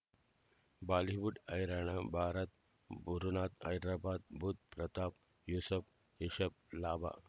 Bollywood ಹೈರಾಣ ಭಾರತ್ ಗುರುನಾಥ ಹೈದರಾಬಾದ್ ಬುಧ್ ಪ್ರತಾಪ್ ಯೂಸುಫ್ ರಿಷಬ್ ಲಾಭ